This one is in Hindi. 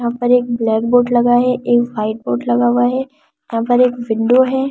यहां पर एक ब्लैकबोर्ड लगा है एक व्हाइटबोर्ड लगा हुआ है यहां पर एक विंडो है।